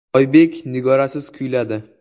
Oybek Nigorasiz kuyladi.